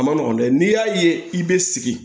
A ma nɔgɔn dɛ n'i y'a ye i bɛ sigi